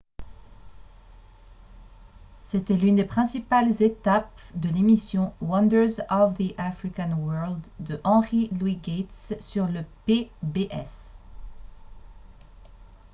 c'était l'une des principales étapes de l'émission « wonders of the african world » de henry louis gates sur le pbs